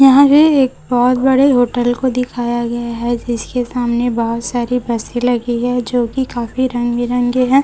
यहां भी एक बहोत बड़े होटल को दिखाया गया है जिसके सामने बहोत सारी बसे लगी है जो की काफी रंग बिरंगे है।